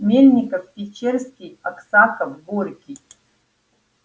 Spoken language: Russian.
мельников печерский аксаков горький